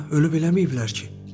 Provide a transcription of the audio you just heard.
Ölüb eləmiyiblər ki?